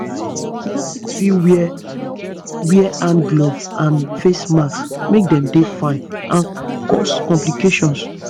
nurses fit wear wear hand gloves and face masks make dem fine and cause complication